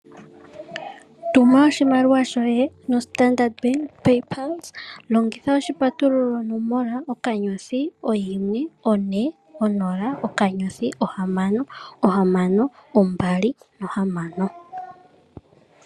Tuma oshimaliwa shoye no Standard Bank PayPulse, longitha oshipatululo nomola, *140*6626.